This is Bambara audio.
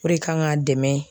O re kan k'a dɛmɛ.